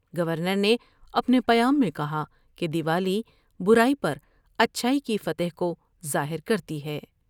Governor نے اپنے پیام میں کہا کہ دیوالی برائی پراچھائی کی فتح کو ظاہر کرتی ہے ۔